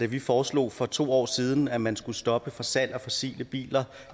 vi foreslog for to år siden at man skulle stoppe for salg af fossile biler